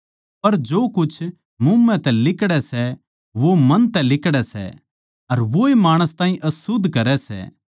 पर जो कुछ मुँह तै लिकड़ै सै वो मन तै लिकड़ै सै अर वोए माणस ताहीं अशुध्द करै सै